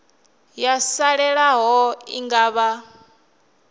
yo salelaho i nga vha